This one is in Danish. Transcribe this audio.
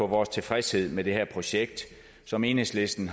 vores tilfredshed med det her projekt som enhedslisten